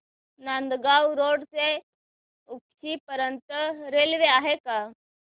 Nandgaon road ते उक्षी पर्यंत railway आहे का